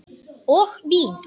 Og vín.